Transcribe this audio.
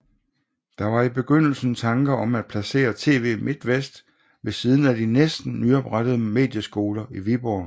Der var i begyndelsen tanker om at placere TV Midtvest ved siden af de næsten nyoprettede Medieskoler i Viborg